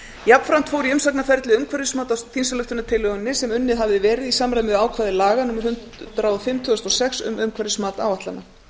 jafnframt fór í umsagnarferli umhverfismat á þingsályktunartillögunni sem unnið hafði verið í samræmi við ákvæði laga númer hundrað og fimm tvö þúsund og sex um umhverfismat áætlana